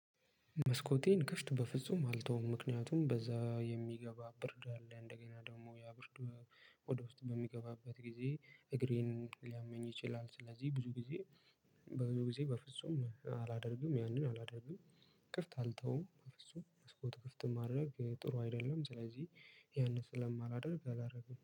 መስኮቴን ከፍት በፍጹም አልተውም ምክንያቱም በዛ የሚገባ ብርድ አለ እንደገና ደግሞ ያ ብርድ ወደ ውስጥ በሚገባበት ጊዜ እግሬን ሊያመኝ ይችላል። ስለዚህ ብዙ ጊዜ በብዙ ጊዜ በፍጹም አላደርግም ያንን አላደርግም። ክፍት አልተውም በፍጹም መስኮት ክፍት ማድረግ ጥሩ አይደለም ስለዚህ ያንን ስለማላደርግ አላደርግም